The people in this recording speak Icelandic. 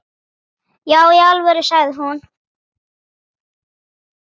Já í alvöru, sagði hún.